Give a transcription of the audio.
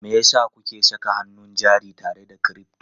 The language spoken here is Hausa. Me yasa kuke saka hannun jari tare da crypto?